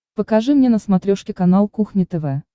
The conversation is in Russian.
покажи мне на смотрешке канал кухня тв